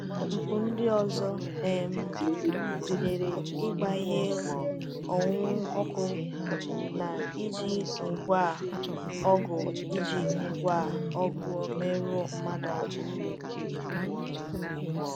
Mpụ ndị ọzọ um gụnyere ịgba ihe onwunwe ọkụ na iji ngwá ọgụ iji ngwá ọgụ merụọ mmadụ ahụ.